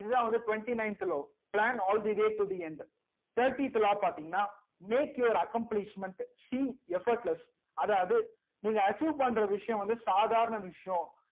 இதுதா வந்து twenty ninth law plan all the way to the end thirty த் law பாத்திங்கனா make your accomplishment seem effortless அதாவது நீங்க achieve பண்ற விஷயம் வந்து சாதாரண விஷயம்